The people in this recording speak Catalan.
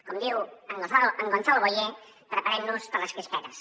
com diu en gonzalo boye preparem nos per a les crispetes